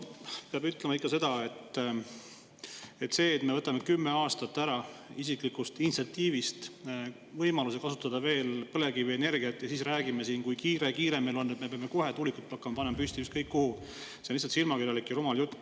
Peab ütlema ikka seda, et see, et me võtame oma isiklikul initsiatiivil ära 10 aastat võimalusest kasutada veel põlevkivienergiat ja siis räägime siin, kui kiire-kiire meil on ja me peame kohe hakkama tuulikuid püsti panema ükskõik kuhu, on lihtsalt silmakirjalik ja rumal jutt.